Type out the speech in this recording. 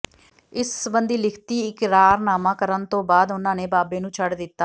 ਇਸ ਸਬੰਧੀ ਲਿਖਤੀ ਇਕਰਾਰਨਾਮਾ ਕਰਨ ਤੋਂ ਬਾਅਦ ਉਨ੍ਹਾਂ ਨੇ ਬਾਬੇ ਨੂੰ ਛੱਡ ਦਿੱਤਾ